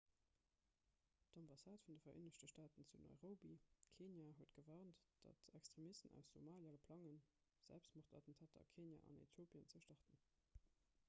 d'ambassade vun de vereenegte staaten zu nairobi kenia huet gewarnt datt extremisten aus somalia plange selbstmordattentater a kenia an äthiopien ze starten